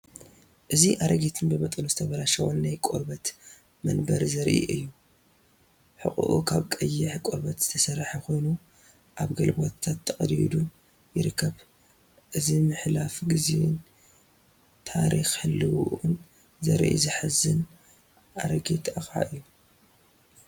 እዚ ኣረጊትን ብመጠኑ ዝተበላሸወን ናይ ቆርበት መንበር ዘርኢ እዩ። ሕቖኡ ካብ ቀይሕ ቆርበት ዝተሰርሐ ኮይኑ ኣብ ገለ ቦታታት ተቐዲዱ ይርከብ። እዚ ምሕላፍ ግዜን ታሪኽ ህላወኡን ዘርኢ ዘሕዝን ኣረጊት ኣቕሓ እዩ።